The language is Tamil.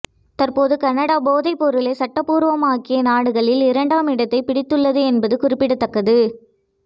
தற்போது கனடா போதைப்பொருளை சட்டபூர்வமாக்கிய நாடுகளில் இரண்டாம் இடத்தைப் பிடித்துள்ளது என்பது குறிப்பிடத்தக்கது